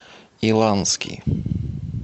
иланский